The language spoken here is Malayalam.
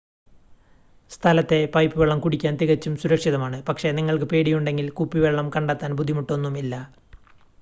സ്ഥലത്തെ പൈപ്പ് വെള്ളം കുടിക്കാൻ തികച്ചും സുരക്ഷിതമാണ് പക്ഷേ നിങ്ങൾക്ക് പേടിയുണ്ടെങ്കിൽ കുപ്പിവെള്ളം കണ്ടെത്താൻ ബുദ്ധിമുട്ടൊന്നും ഇല്ല